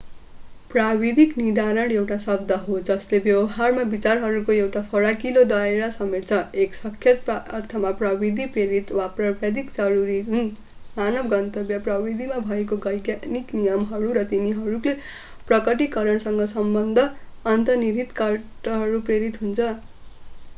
प्राविधिक निर्धारण एउटा शब्द हो जसले व्यवहारमा विचारहरूको एउटा फराकिलो दायरा समेट्छ एक सख्त अर्थमा प्रविधि-प्रेरित वा प्राविधिक जरुरी जुन मानव गन्तव्य प्रविधिमा भएका वैज्ञानिक नियमहरू र तिनीहरूको प्रकटीकरणसँग सम्बद्ध अन्तर्निहित तर्कद्वारा प्रेरित हुन्छ